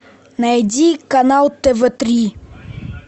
найди канал тв три